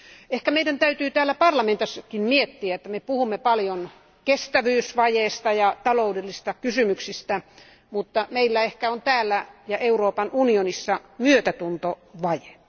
Ehkä meidän täytyy täällä parlamentissakin miettiä, että me puhumme paljon kestävyysvajeesta ja taloudellisista kysymyksistä, mutta meillä ehkä on täällä ja Euroopan unionissa myötätuntovaje.